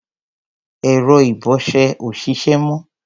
Ẹ̀rọ ìbọṣẹ ò ṣiṣẹ́ mọ́.